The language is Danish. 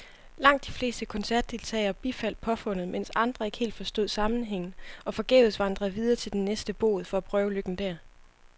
Langt de fleste koncertdeltagere bifaldt påfundet, mens andre ikke helt forstod sammenhængen og forgæves vandrede videre til den næste bod for at prøve lykken der.